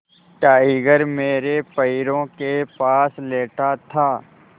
tiger मेरे पैरों के पास लेटा था